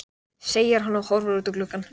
segir hann og horfir út um gluggann.